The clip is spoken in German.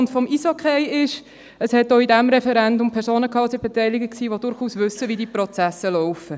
Auch an diesem Referendum waren Personen beteiligt, die durchaus wissen, wie die Prozesse laufen.